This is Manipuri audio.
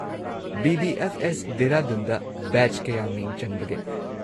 ꯕꯤ.ꯕꯤ.ꯑꯦꯐ.ꯑꯦꯁ. ꯗꯦꯍꯔꯥꯗꯨꯟꯗ ꯕꯦꯆ ꯀꯌꯥ ꯃꯤꯡ ꯆꯟꯕꯒꯦ?